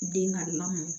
Den ka lamɔ